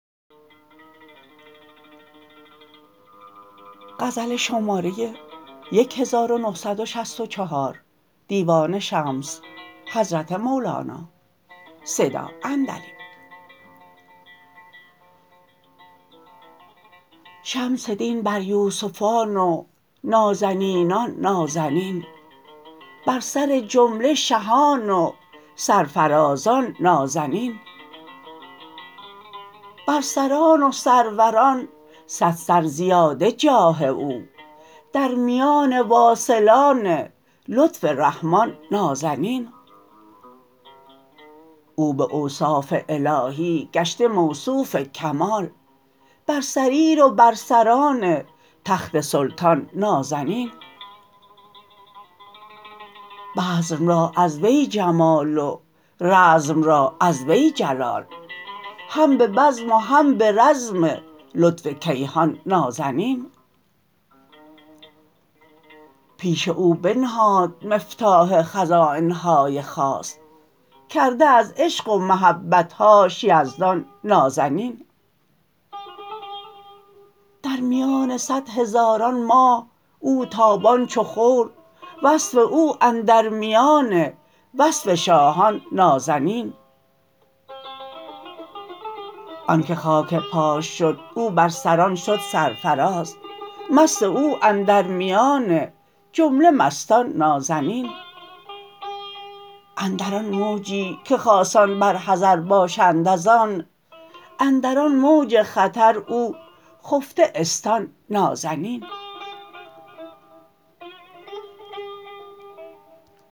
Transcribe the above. شمس دین بر یوسفان و نازنینان نازنین بر سر جمله شهان و سرفرازان نازنین بر سران و سروران صد سر زیاده جاه او در میان واصلان لطف رحمان نازنین او به اوصاف الهی گشته موصوف کمال بر سریر و بر سران تخت سلطان نازنین بزم را از وی جمال و رزم را از وی جلال هم به بزم و هم به رزم لطف کیهان نازنین پیش او بنهاد مفتاح خزاین های خاص کرده از عشق و محبت هاش یزدان نازنین در میان صد هزاران ماه او تابان چو خور وصف او اندر میان وصف شاهان نازنین آنک خاک پاش شد او بر سران شد سرفراز مست او اندر میان جمله مستان نازنین اندر آن موجی که خاصان بر حذر باشند از آن اندر آن موج خطر او خفته استان نازنین